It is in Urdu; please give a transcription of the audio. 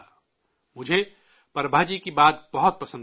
'' مجھے پربھا جی کی بات بہت پسند آئی